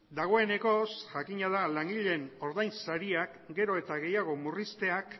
dagoeneko jakina da langileen ordain sariak gero eta gehiago murrizteak